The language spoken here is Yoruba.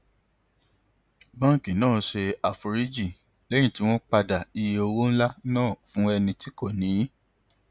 báńkì náà ṣe àforíjì lẹyìn tí wọn padà iye owó ńlá náà fún ẹni tí kò níí